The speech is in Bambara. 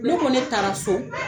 Ne kɔ ne taara so.